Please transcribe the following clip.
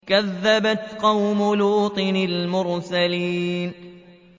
كَذَّبَتْ قَوْمُ لُوطٍ الْمُرْسَلِينَ